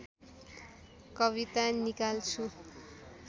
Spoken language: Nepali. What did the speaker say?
कविता निकाल्छु